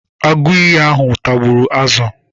Agụiyi ahụ tagburu azụ.